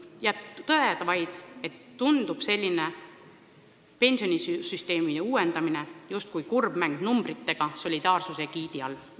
Jääb vaid tõdeda, et selline pensionisüsteemi uuendamine on justkui kurbmäng numbritega solidaarsuse sildi all.